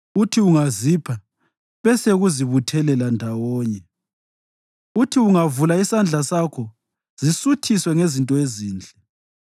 Uthi ungazipha bese zikubuthela ndawonye; uthi ungavula isandla sakho, zisuthiswe ngezinto ezinhle.